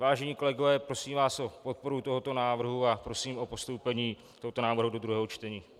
Vážení kolegové, prosím vás o podporu tohoto návrhu a prosím o postoupení tohoto návrhu do druhého čtení.